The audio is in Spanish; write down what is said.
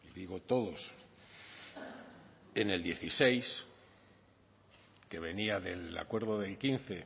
digo todos en el dieciséis que venía del acuerdo del quince